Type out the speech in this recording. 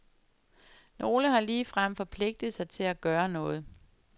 Nogle har ligefrem forpligtet sig til at gøre noget.